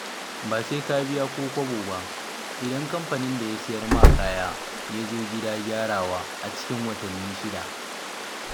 Ba sai ka biya ko kobo ba, idan kamfanin da ya sayar ma kaya ya zo gida gyarawa a cikin watanni shida.